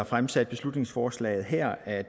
fremsatte beslutningsforslaget her at